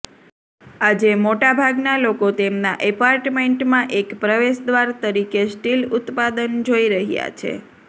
આજે મોટાભાગના લોકો તેમના એપાર્ટમેન્ટમાં એક પ્રવેશદ્વાર તરીકે સ્ટીલ ઉત્પાદન જોઈ રહ્યા છે